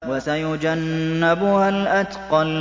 وَسَيُجَنَّبُهَا الْأَتْقَى